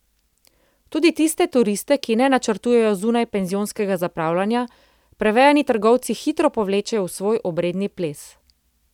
Tudi tiste turiste, ki ne načrtujejo zunajpenzionskega zapravljanja, prevejani trgovci hitro povlečejo v svoj obredni ples.